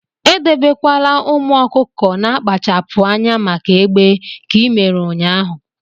edebekwala ụmụ ọkụkọ na-akpachapụ anya maka egbe ka i mere ụnyahụ!